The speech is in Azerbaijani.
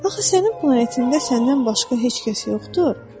Axı sənin planetində səndən başqa heç kəs yoxdur.